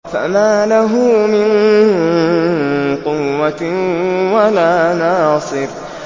فَمَا لَهُ مِن قُوَّةٍ وَلَا نَاصِرٍ